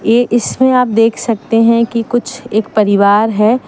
ये इसमें आप देख सकते हैं कि कुछ एक परिवार है।